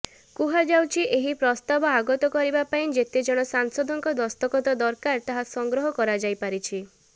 କୁହାଯାଉଛି ଏହି ପ୍ରସ୍ତାବ ଆଗତ କରିବା ପାଇଁ ଯେତେଜଣ ସାଂସଦଙ୍କ ଦସ୍ତଖତ ଦରକାର ତାହା ସଂଗ୍ରହ କରାଯାଇପାରିଛି